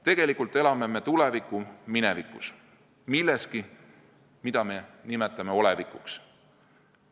Tegelikult elame me tuleviku minevikus – milleski, mida me nimetame "olevikuks".